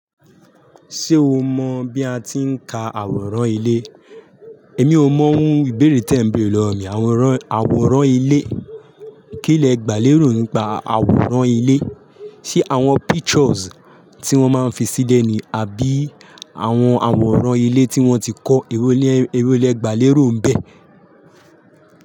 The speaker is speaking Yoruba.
Ṣé o mọ̀ bí a ti ń ka àwòrán ilé? Èmi ò mọ̀ ohun ìbéèrè tí ẹ ń bèrè lọ́wọ́ mi. Àwòrán, àwòrán ilé. Kí lẹ gbà lérò nípa àwòrán ilé? Ṣé àwọn pictures tí wọ́n máa ń fi sílẹ̀ ni àbí àwọn àwòrán ilé tí wọ́n ti kọ́ ewo lẹ gbà lérò ń bẹ?